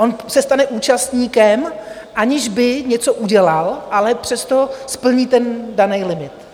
On se stane účastníkem, aniž by něco udělal, ale přesto splní ten daný limit.